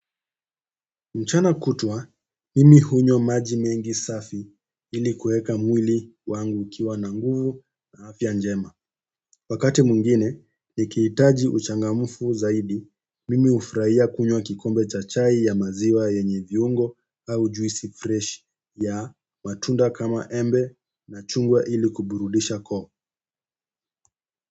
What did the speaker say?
Mchana kutwa, mimi hunywa maji mengi safi ili kueka mwili wangu ukiwa na nguvu na afya njema. Wakati mwingine, nikihitaji uchangamfu zaidi, mimi hufurahia kunywa kikombe cha chai ya maziwa yenye viungo au juisi fresh ya matunda kama embe na chungwa ili kuburudisha koo.